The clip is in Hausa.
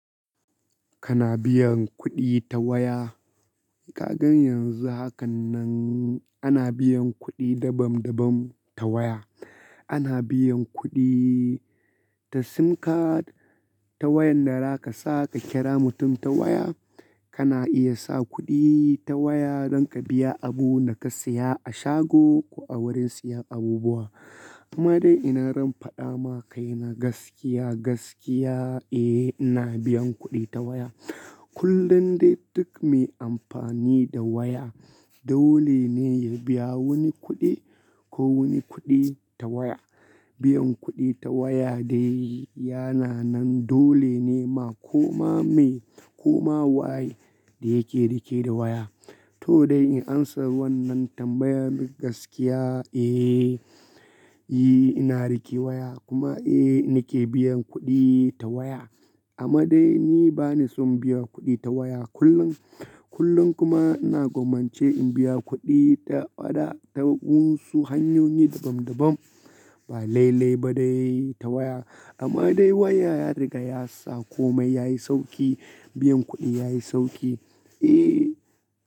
Kana biyan kuɗi ta waya. Ka gan yanzu hakannan ana biyan kuɗi dabam dabam ta waya. Ana biyan kuɗi ta sim card, ta wayan da zaka sa ka kira mutum ta waya. Kana iya sa kuɗi ta waya don ka biya abunda ka siya a shago ko a wurin siyan abubuwa. Amma dai ina faɗama kai na gaskiya, gaskiya, eh ina biyan kuɗi ta waya. Kullum dai duk me amfani da waya dole ne ya biya wani kuɗi ko wani kuɗi ta waya. Biyan kuɗi ta waya dai yana nan dole ne ma koma me koma waye da yake rike da waya. To dai in amsa wannan tambayan gaskiya, eh, yi ina rike waya kuma eh nake biyan kuɗi ta waya. Amma dai ni bani son biyan kuɗi ta waya kullum. Kullum kuma ina gwammance in biya kuɗi ta waɗansu hanyoyi dabam dabam ba lailai ba dai ta waya. Amma dai waya ya riga ya sa komai yayi sauƙi, biyan kuɗi yayi sauƙi. Eh.